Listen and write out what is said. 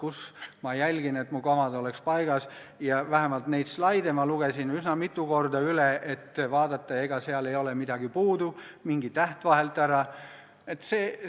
On olukordi, kus ma jälgin, et mu komad oleks paigas, ja vähemalt need slaidid lugesin ma üsna mitu korda üle, et vaadata, ega seal midagi puudu ei ole, mingi täht vahelt ära jäänud.